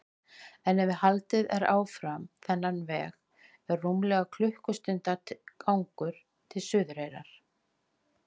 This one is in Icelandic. En ef haldið er áfram þennan veg er rúmlega klukkustundar gangur til Suðureyrar.